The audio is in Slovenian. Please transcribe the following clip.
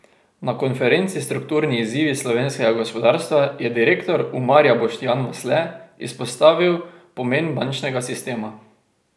Na konferenci Strukturni izzivi slovenskega gospodarstva je direktor Umarja Boštjan Vasle izpostavil pomen bančnega sistema.